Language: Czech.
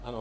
Ano.